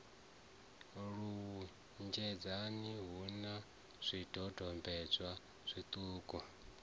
lunzhedzana hu na zwidodombedzwa zwiṱukuṱuku